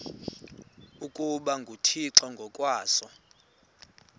ukuba nguthixo ngokwaso